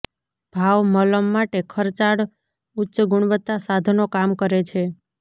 ભાવ મલમ માટે ખર્ચાળ ઉચ્ચ ગુણવત્તા સાધનો કામ કરે છે